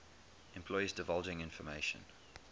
employees divulging information